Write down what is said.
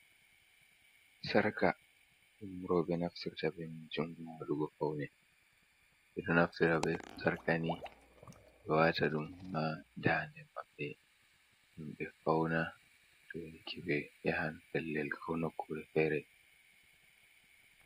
Sarka ɗum roɓe naftirta be majum ha waɗugo faune. Ɓeɗo naftira be sarka ni ngam wata ɗum ha daande maɓɓe ngam ɓe fauna to ko ɓe yahan pellel ko nokkure fere.